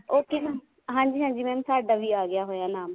ਉਹ ਤੇ ਹਾਂਜੀ ਹਾਂਜੀ mam ਸਾਡਾ ਵੀ ਆ ਗਿਆ ਨਾਮ